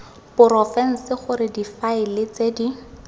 porofense gore difaele tse di